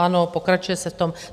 Ano, pokračuje se v tom.